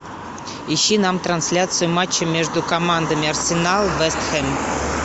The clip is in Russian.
ищи нам трансляцию матча между командами арсенал вест хэм